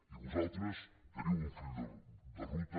i vosaltres teniu un full de ruta